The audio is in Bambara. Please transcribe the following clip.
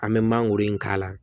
An bɛ mangoro in k'a la